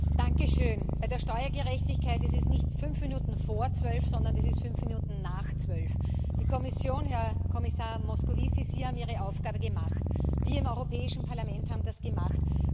Herr Präsident! Bei der Steuergerechtigkeit ist es nicht fünf Minuten vor zwölf, sondern es ist fünf Minuten nach zwölf. Die Kommission Herr Kommissar Moscovici, Sie haben Ihre Aufgabe gemacht, wir im Europäischen Parlament haben das gemacht.